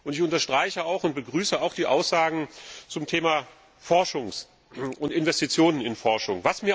Ich unterstreiche und begrüße auch die Aussagen zum Thema Forschung und Investitionen in die Forschung.